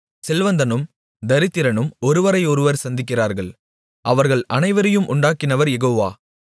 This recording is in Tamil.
செல்வந்தனும் தரித்திரனும் ஒருவரையொருவர் சந்திக்கிறார்கள் அவர்கள் அனைவரையும் உண்டாக்கினவர் யெகோவா